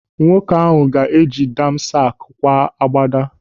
Nwoke ahụ ga eji damask kwaa agbada.